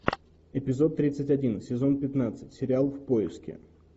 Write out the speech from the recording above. эпизод тридцать один сезон пятнадцать сериал в поиске